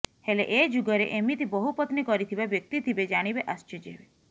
ହେଲେ ଏ ଯୁଗରେ ଏମିତି ବହୁପତ୍ନୀ କରିଥିବା ବ୍ୟକ୍ତି ଥିବେ ଜାଣିବେ ଆଶ୍ଚର୍ଯ୍ୟ ହେବେ